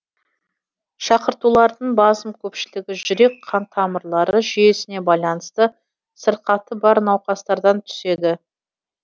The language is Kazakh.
шақыртулардың басым көпшілігі жүрек қан тамырлары жүйесіне байланысты сырқаты бар науқастардан түседі